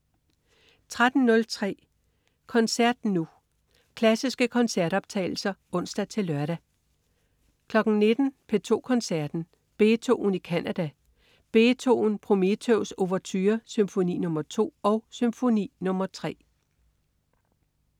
13.03 Koncert Nu. Klassiske koncertoptagelser (ons-lør) 19.00 P2 Koncerten. Beethoven i Canada. Beethoven: Prometheus ouverture. Symfoni nr. 2 og Symfoni nr. 3